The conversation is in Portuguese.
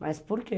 Mas por que?